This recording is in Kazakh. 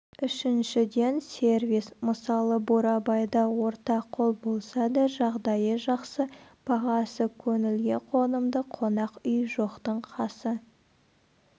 үшіншіден сервис мысалы бурабайда ортақол болса да жағдайы жақсы бағасы көңілге қонымды қонақ үй жоқтың қасы